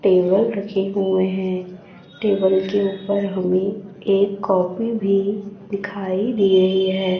Table रखे हुए हैं टेबल के ऊपर हमें एक कॉपी भी दिखाई दे रही है।